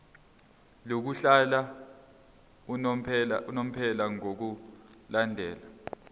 lokuhlala unomphela ngokulandela